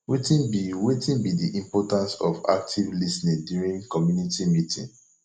wetin be wetin be di importance of active lis ten ing during community meeting